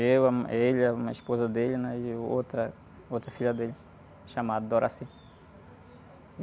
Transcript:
Eu, ãh, ele, a mu, a esposa dele, né? E o outra, outra filha dele, chamada.